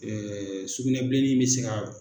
sugunɛbilenin in mɛ se ka